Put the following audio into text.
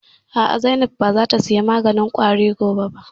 A'a, Zainab ba za ta saya maganin ƙwari gobe ba